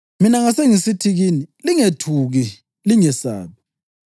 Mina ngasengisithi kini, ‘Lingethuki; lingabesabi.